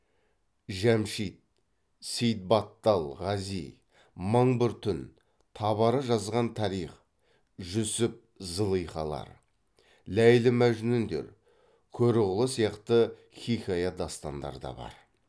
жәмшид сеидбаттал ғази мың бір түн табары жазған тарих жүсіп зылихалар ләйлі мәжнүндер көрұғлы сияқты хикая дастандар да бар